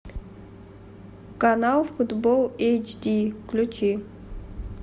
канал футбол эйч ди включи